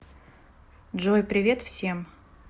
джой привет всем